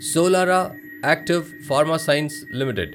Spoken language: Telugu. Solara Active Pharma Science limited